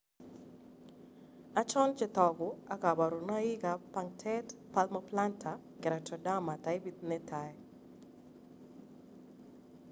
Achon chetogu ak kaborunoik ab punctate palmoplantar keratoderma taipit netaa